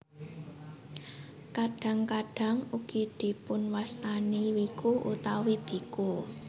Kadhang kadhang ugi dipunwastani wiku utawi biku